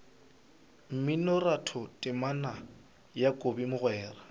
mminoratho temana ya kobi mogwera